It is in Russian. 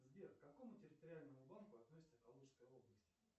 сбер к какому территориальному банку относится калужская область